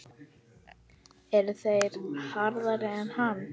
Eru þeir harðari en hann?